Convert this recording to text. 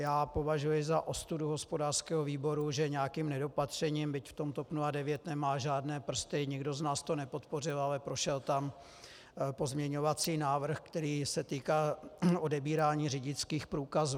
Já považuji za ostudu hospodářského výboru, že nějakým nedopatřením, byť v tom TOP 09 nemá žádné prsty, nikdo z nás to nepodpořil, ale prošel tam pozměňovací návrh, který se týkal odebírání řidičských průkazů.